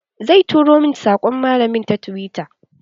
Zai turo min saƙon malamin ta tiwita.